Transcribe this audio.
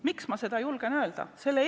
Miks ma seda julgen öelda?